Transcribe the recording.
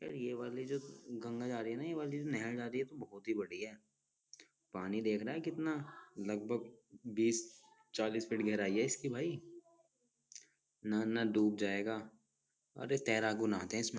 ये वाली जो गंगा जा रही है ना ये वाली नहर जा रही है तो बहुत ही बडी है पानी देख रहे हैं कितना लगभग बीस चालीस फीट गहराई है इसकी भाई नाना डूब जाएगा अरे तैराकू नहाते है इसमें ।